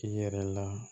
I yɛrɛ la